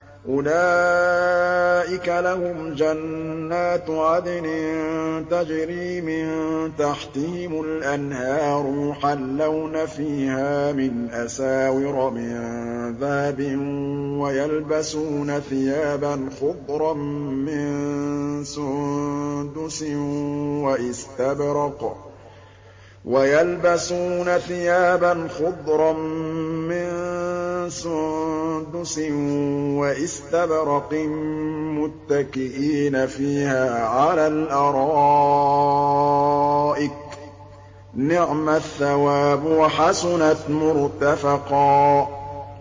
أُولَٰئِكَ لَهُمْ جَنَّاتُ عَدْنٍ تَجْرِي مِن تَحْتِهِمُ الْأَنْهَارُ يُحَلَّوْنَ فِيهَا مِنْ أَسَاوِرَ مِن ذَهَبٍ وَيَلْبَسُونَ ثِيَابًا خُضْرًا مِّن سُندُسٍ وَإِسْتَبْرَقٍ مُّتَّكِئِينَ فِيهَا عَلَى الْأَرَائِكِ ۚ نِعْمَ الثَّوَابُ وَحَسُنَتْ مُرْتَفَقًا